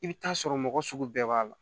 I bɛ taa sɔrɔ mɔgɔ sugu bɛɛ b'a la